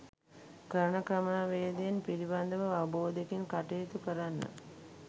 කරන ක්‍රමවේදයන් පිළිබඳව අවබෝධයකින් කටයුතු කරන්න.